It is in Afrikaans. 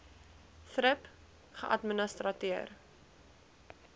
thrip geadministreer